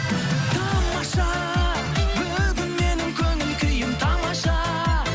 тамаша бүгін менің көңіл күйім тамаша